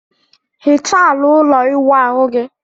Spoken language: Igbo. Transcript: Hichaa ala ụlọ ịwụ ahu gị!